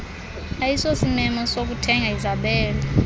ayisosimemo sokuthenga izabelo